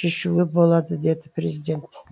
шешуге болады деді президент